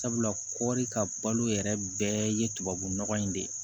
Sabula kɔri ka balo yɛrɛ bɛɛ ye tubabu nɔgɔ in de ye